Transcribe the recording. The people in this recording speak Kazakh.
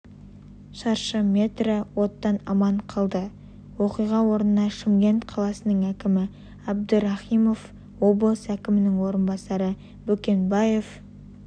шаршы метрі оттан аман қалды оқиға орнына шымкент қаласының әкімі абдрахимов облыс әкімінің орынбасары бөкенбаев